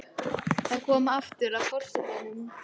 Það er aftur komið að forsetanum.